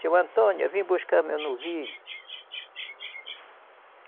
Seu Antônio, eu vim buscar meu novilho.